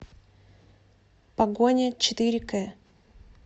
погоня четыре кэ